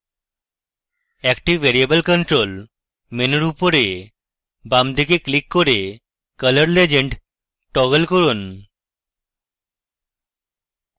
active variable control মেনুর উপরে বামদিকে ক্লিক করে color legend টগল করুন